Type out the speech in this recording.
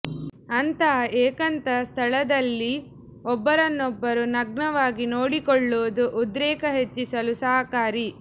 ಅಂತಹ ಏಕಾಂತ ಸ್ಥಳದಲ್ಲಿ ಒಬ್ಬರನ್ನೊಬ್ಬರು ನಗ್ನವಾಗಿ ನೋಡಿಕೊಳ್ಳುವುದು ಉದ್ರೇಕ ಹೆಚ್ಚಿಸಲು ಸಹಕಾರಿ